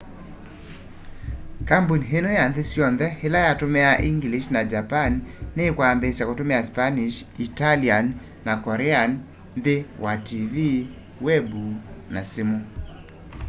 kambuni ino ya nthi syonthe ila yatumiaa english na japanese ni kwambiisya kutumia spanish italian na korean nthi wa tv web na simu